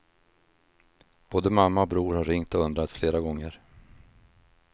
Både mamma och bror har ringt och undrat flera gånger.